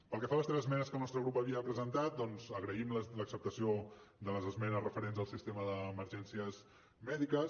pel que fa a les tres esmenes que el nostre grup havia presentat agraïm l’acceptació de les esmenes referents al sistema d’emergències mèdiques